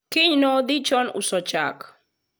kiny nodhi chon uso chak